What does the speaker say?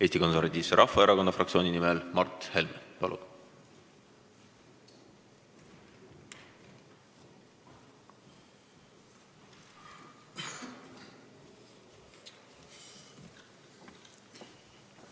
Eesti Konservatiivse Rahvaerakonna fraktsiooni nimel Mart Helme, palun!